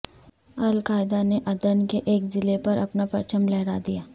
القاعدہ نے عدن کے ایک ضلع پر اپنا پرچم لہرا دیا